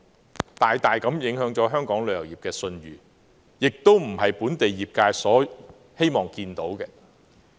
事件大大影響了香港旅遊業的信譽，而這亦非本地業界所願見的。